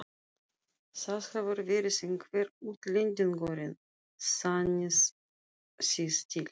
Það hefur verið einhver útlendingurinn, sannið þið til.